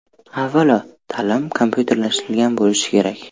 Avvalo, ta’lim kompyuterlashtirilgan bo‘lishi kerak.